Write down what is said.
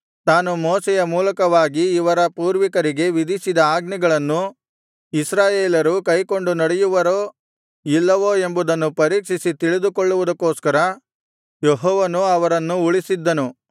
ತಾನು ಮೋಶೆಯ ಮೂಲಕವಾಗಿ ಇವರ ಪೂರ್ವಿಕರಿಗೆ ವಿಧಿಸಿದ ಆಜ್ಞೆಗಳನ್ನು ಇಸ್ರಾಯೇಲರು ಕೈಕೊಂಡು ನಡೆಯುವರೋ ಇಲ್ಲವೋ ಎಂಬುದನ್ನು ಪರೀಕ್ಷಿಸಿ ತಿಳಿದುಕೊಳ್ಳುವುದಕ್ಕೋಸ್ಕರ ಯೆಹೋವನು ಅವರನ್ನು ಉಳಿಸಿದ್ದನು